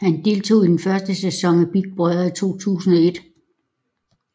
Han deltog i den første sæson af Big Brother i 2001